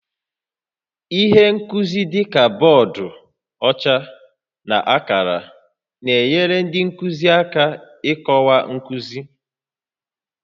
Ihe nkuzi dị ka bọọdụ ọcha na akara na-enyere ndị nkuzi aka ịkọwa nkuzi